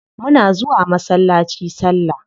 Muna zuwa masallaci salla.